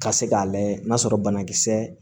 Ka se k'a layɛ n'a sɔrɔ banakisɛ